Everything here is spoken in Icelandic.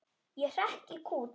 Ég hrekk í kút.